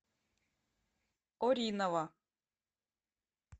оринова